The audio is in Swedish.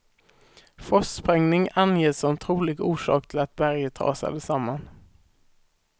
Frostsprängning anges som trolig orsak till att berget rasade samman.